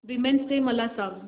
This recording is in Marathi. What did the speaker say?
वीमेंस डे मला सांग